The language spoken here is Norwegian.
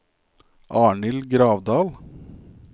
Arnhild Gravdal